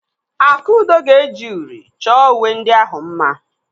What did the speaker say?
Akudo ga-eji uri chọọ uwe ndị ahụ mma.